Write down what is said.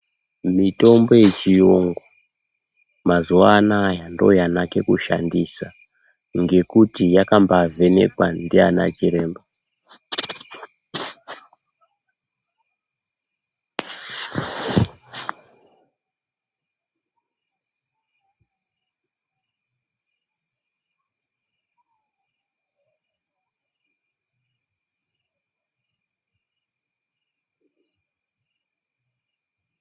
Mitombo yechiyungu mazuvanoya ndiyo yanake kushandisa ngekuti yakambaa vhenekwa ndiana chiremba.